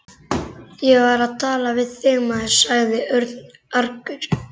Ég var að tala við þig, maður sagði Örn argur.